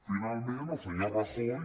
finalment el senyor rajoy